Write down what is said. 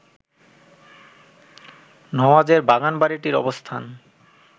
নওয়াজের বাগানবাড়িটির অবস্থান